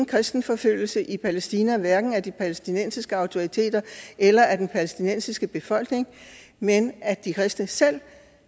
kristenforfølgelse i palæstina hverken af de palæstinensiske autoriteter eller af den palæstinensiske befolkning men at de kristne selv